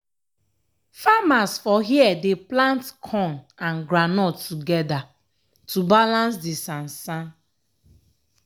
farmers for here dey plant corn and groundnut togeda to balance di sansan.